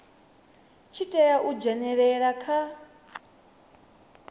tshi tea u dzhenelela kha